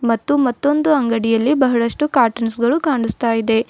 ಮತ್ತು ಮತ್ತೊಂದು ಅಂಗಡಿಯಲ್ಲಿ ಬಹಳಷ್ಟು ಕಾಟನ್ಸ್ ಗಳು ಕಾನಸ್ತಾ ಇದೆ.